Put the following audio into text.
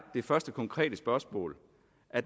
det første konkrete spørgsmål